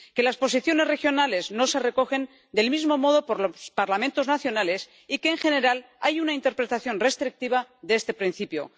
que las posiciones regionales no se recogen del mismo modo por los Parlamentos nacionales y que en general hay una interpretación restrictiva de este principio.